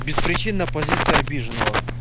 беспричинно позиция обиженного